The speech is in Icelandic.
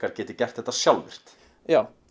geti gert þetta sjálfvirkt já